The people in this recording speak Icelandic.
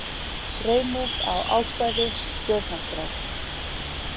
Reynir á ákvæði stjórnarskrár